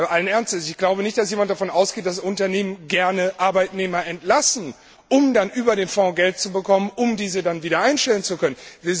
Allen Ernstes, ich glaube nicht, dass jemand davon ausgeht, dass Unternehmen gerne Arbeitnehmer entlassen, um dann über den Fonds Geld zu bekommen, um sie dann wieder einstellen zu können.